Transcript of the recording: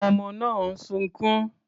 Àwọn ọmọ náà ń sunkún.